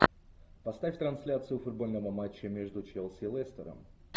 поставь трансляцию футбольного матча между челси и лестером